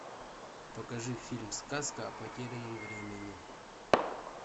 покажи фильм сказка о потерянном времени